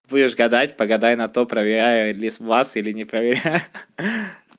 будешь гадать погадай на то проверяют ли сглаз или не проверяю ха-ха